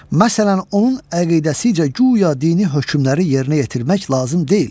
Məsələn, onun əqidəsincə guya dini hökmləri yerinə yetirmək lazım deyil.